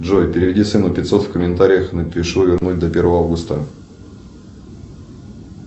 джой переведи сыну пятьсот в комментариях напишу вернуть до первого августа